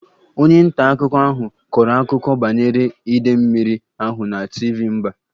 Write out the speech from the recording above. Onye nta akụkọ ahụ kọrọ akụkọ banyere idei mmiri ahụ na TV mba